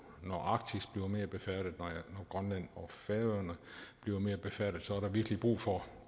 når arktis bliver mere befærdet når grønland og færøerne bliver mere befærdet så er der virkelig brug for